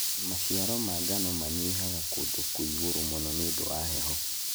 Maciaro ma mangano manyihaga kũndũ kwĩ ĩgũrũ mũno nĩũndũ wa heho.